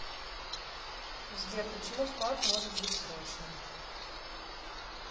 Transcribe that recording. сбер почему вклад может быть срочным